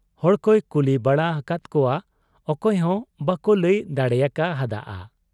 ᱦᱚᱲᱠᱚᱭ ᱠᱩᱞᱤ ᱵᱟᱲᱟ ᱟᱠᱟᱫ ᱠᱚᱣᱟ, ᱚᱠᱚᱭ ᱦᱚᱸ ᱵᱟᱠᱚ ᱞᱟᱹᱭ ᱫᱟᱲᱮᱭᱟᱠᱟ ᱦᱟᱫ ᱟ ᱾